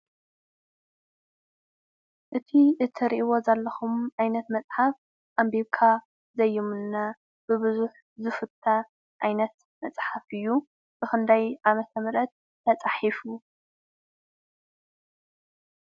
እቱይ እትርእይዎ ዘለኩም ዓይነት መፅሓፍ ኣንቢብካ ዘይምኖ ብቡዝሕ ዝፍተ ዓይነት መፅሓፍ እዩ። ብክንደይ ዓ/ም ተፃሕፉ?